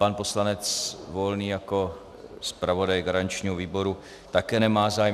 Pan poslanec Volný jako zpravodaj garančního výboru také nemá zájem.